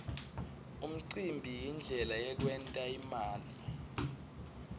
umcimbi yindlela yekwent imali